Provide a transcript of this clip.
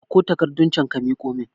Ɗauko takarɗun can ka miƙo mun